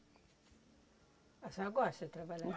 A senhora gosta de trabalhar?